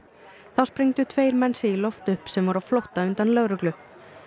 þá sprengdu tveir menn sig í loft upp sem voru á flótta undan lögreglu